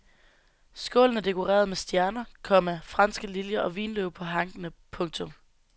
Skålen er dekoreret med stjerner, komma franske liljer og vinløv på hankene. punktum